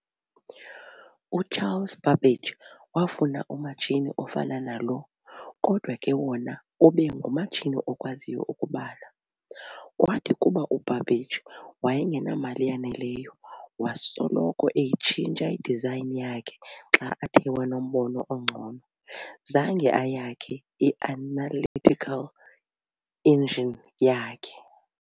U-Charles Babbage wafuna umatshini ofana nalo kodwa ke wona ube ngumatshini okwaziyo ukubala. Kwathi kuba u-Babbage wayengamali yanelelyo wasoloko eyitshintsha i-design yakhe xa athe wanombono ongcono, zange ayakhe i-Analytical Engine yakhe.